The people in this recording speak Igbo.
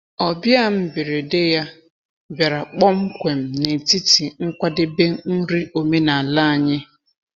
Ọbịa mberede ya bịara kpọmkwem n’etiti nkwadebe nri omenala anyị.